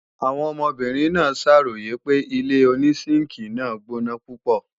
Àwọn ọmọbìnrin náà ṣàròyè pé ilé-onísínkìi náà gbóná púpọ̀